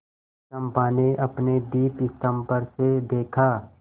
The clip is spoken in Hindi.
चंपा ने अपने दीपस्तंभ पर से देखा